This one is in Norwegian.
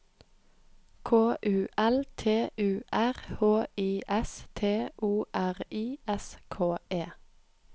K U L T U R H I S T O R I S K E